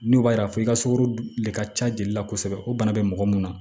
N'o b'a yira f'i ka sugɔro de ka ca jeli la kosɛbɛ o bana be mɔgɔ mun na